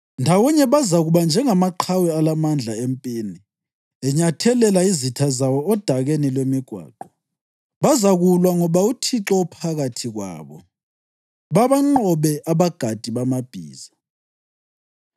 Ndawonye bazakuba njengamaqhawe alamandla empini enyathelela izitha zawo odakeni lwemigwaqo. Bazakulwa ngoba uThixo ephakathi kwabo, babanqobe abagadi bamabhiza.